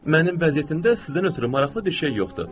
Mənim vəziyyətimdə sizdən ötrü maraqlı bir şey yoxdur.